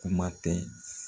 Kuma tɛ